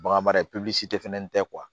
Bagan mara tɛ fɛn tɛ